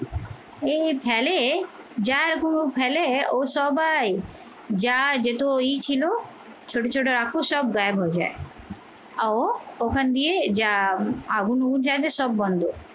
এই ভ্যালে জার গরু ফেলে ও সবাই যা যেত ওই ছিল ছোট ছোট রাক্ষস সব গায়েব হয়ে যায়। ও ওখান দিয়ে যা আগুন উড়ছে সব বন্ধ